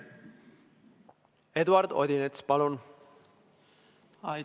Eduard Odinets, palun!